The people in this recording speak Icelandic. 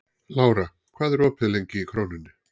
Lára, hvað er opið lengi í Krónunni?